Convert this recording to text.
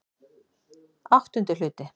VIII Hluti